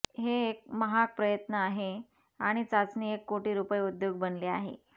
हे एक महाग प्रयत्न आहे आणि चाचणी एक कोटी रुपये उद्योग बनले आहे